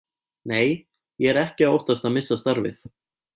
Nei, ég er ekki að óttast að missa starfið.